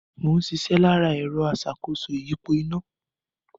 Mò ń ṣiṣẹ́ lára ẹ̀rọ aṣàkóso ìyípo iná